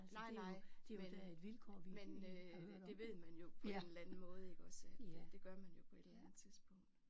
Nej nej men men øh det ved man jo på en eller anden måde iggås at det gør man jo på et eller andet tidspunkt